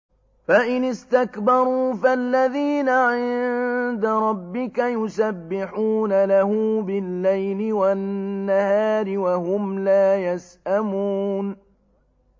فَإِنِ اسْتَكْبَرُوا فَالَّذِينَ عِندَ رَبِّكَ يُسَبِّحُونَ لَهُ بِاللَّيْلِ وَالنَّهَارِ وَهُمْ لَا يَسْأَمُونَ ۩